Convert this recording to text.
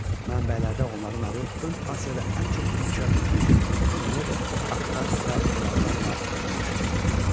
Mənbələrdə onların adı ön Asiyada ən çox inkişaf etmiş Şumer, Akkad və Elamlarla yanaşı çəkilir.